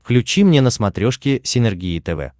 включи мне на смотрешке синергия тв